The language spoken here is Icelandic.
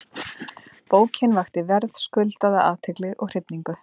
Bókin vakti verðskuldaða athygli og hrifningu.